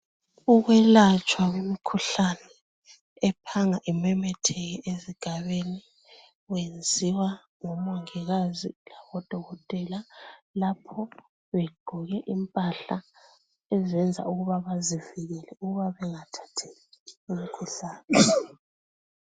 Ukwelatshwa kwemikhuhlane ephanga imemetheke ezigabeni, kwenziwa ngomongikazi labodokotela lapho begqoke impahla ezenza ukuba bazivikele ukuba bengathathi imikhuhlane.